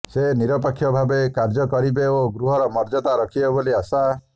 ସେ ନିରପେକ୍ଷ ଭାବେ କାର୍ଯ୍ୟ କରିବେ ଓ ଗୃହର ମର୍ଯ୍ୟାଦା ରଖିବେ ବୋଲି ଆଶା